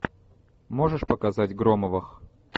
можешь показать громовых